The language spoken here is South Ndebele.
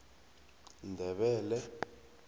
ndebele